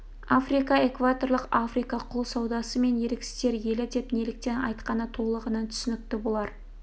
африка экваторлық африка құл саудасы мен еріксіздер елі деп неліктен айтқаны толығынан түсінікті болар